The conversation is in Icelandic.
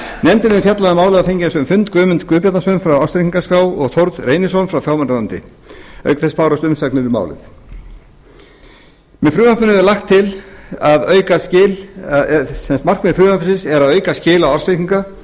nefndin hefur fjallað um málið og fengið á sinn fund guðmund guðbjarnason frá ársreikningaskrá og þórð reynisson frá fjármálaráðuneyti auk en bárust umsagnir um málið markmið frumvarpsins er að auka skil